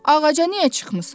Ağaca niyə çıxmısan?